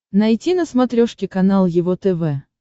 найти на смотрешке канал его тв